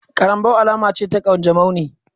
Karambaw alama ce ta kanjamau ne